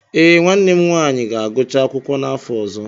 Ee, nwanne m nwanyị ga-agụcha akwụkwọ n'afọ ọzọ.